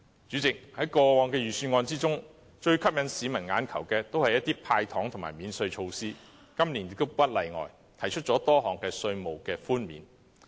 主席，在過往的預算案中，最吸引市民"眼球"的皆是一些"派糖"和免稅措施，今年亦不例外，提出了多項稅務寬免。